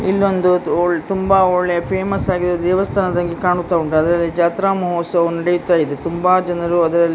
ಇಲ್ಲೊಂದು ಓಲ್- ತುಂಬ ಒಳ್ಳೆ ಫೇಮಸ್ ಆಗಿರುವ ದೇವಸ್ಥಾನದ ಹಾಗೆ ಕಾಣ್ತಾ ಉಂಟು ಅದರಲ್ಲಿ ಜಾತ್ರಾ ಮಹೋತ್ಸವವು ನೆಡಿತಾ ಇದೆ ತುಂಬಾ ಜನರು ಅದರಲ್ಲಿ--